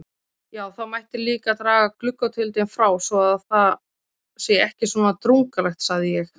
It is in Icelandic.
Já, það mætti líka draga gluggatjöldin frá svo það sé ekki svona drungalegt sagði ég.